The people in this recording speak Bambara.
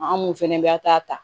An mun fɛnɛ bɛ a ta